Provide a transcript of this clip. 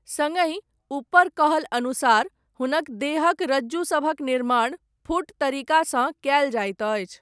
सङ्गहि, ऊपर कहल अनुसार, हुनक देहक रज्जुसभक निर्माण, फुट तरीकसँ कयल जाइत अछि।